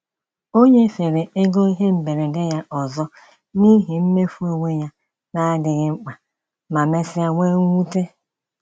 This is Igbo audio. O nyefere ego ihe mberede ya ọzọ n’ihi mmefu onwe ya na-adịghị mkpa, ma mesịa nwee mwute.